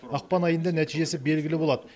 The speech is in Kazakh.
ақпан айында нәтижесі белгілі болады